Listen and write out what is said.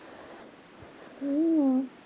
हम्म